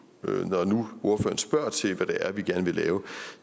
når nu ordføreren spørger til hvad det er vi gerne vil lave